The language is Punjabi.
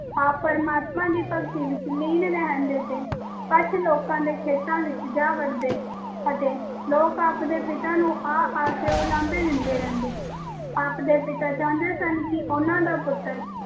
ਆਪ ਪ੍ਰਮਾਤਮਾ ਦੀ ਭਗਤੀ ਵਿੱਚ ਲੀਨ ਰਹਿੰਦੇ ਤੇ ਪਸ਼ੂ ਲੋਕਾਂ ਦੇ ਖੇਤਾਂ ਵਿਚ ਜਾ ਵੜਦੇ, ਅਤੇ ਲੋਕ ਆਪ ਦੇ ਪਿਤਾ ਨੂੰ ਆ ਆ ਕੇ ਉਲਾਂਭੇ ਦਿੰਦੇ ਰਹਿੰਦੇ। ਆਪ ਦੇ ਪਿਤਾ ਚਾਹੁੰਦੇ ਸਨ ਕਿ ਉਨ੍ਹਾਂ ਦਾ ਪੁੱਤਰ